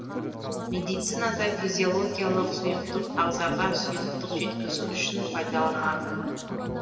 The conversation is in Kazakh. медицинада физиологиялық сұйықтық ағзаға сұйықтық жеткізу үшін пайдаланады